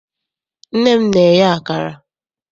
Nne m na-eye akara.